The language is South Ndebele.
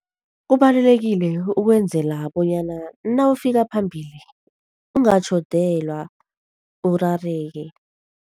Kubalulekile, ukwenzela bonyana nawufika phambili ungatjhodelwa urareke.